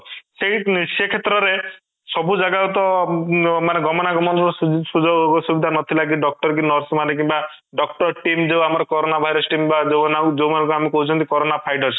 ସେଇ ସେ କ୍ଷେତ୍ର ରେ ସବୁ ଜାଗା କୁ ତ ମାନେ ଗମନାଗମନ ର ଶୂଯ ସୁଯୋଗ ସୁବିଧା ନଥିଲା କି doctor କି nurse ମାନେ କିମ୍ବା doctor team ଯୋଉ ଆମର corona virus team ବା ଯୋଉଁମାନଙ୍କୁ ଆମେ କହୁଛନ୍ତି corona fighters